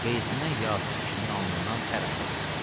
Qeyzindən yazıq kişinin alnından tər axırdı.